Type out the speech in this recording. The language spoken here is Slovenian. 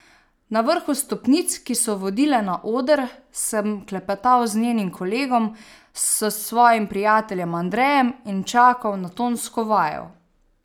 Na vrhu stopnic, ki so vodile na oder, sem klepetal z njenim kolegom, s svojim prijateljem Andrejem in čakal na tonsko vajo.